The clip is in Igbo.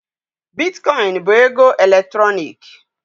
Bitkọịn bụ ego eletrọnịkị.